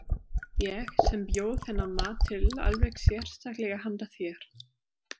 Ég sem bjó þennan mat til alveg sérstaklega handa þér.